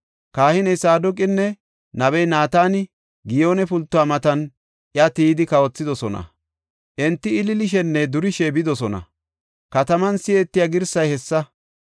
Kahiney Saadoqinne nabey Naatani, Giyoone pultuwa matan iya tiyidi kawothidosona; enti ililishenne durishe bidosona; kataman si7etiya girsay hessa.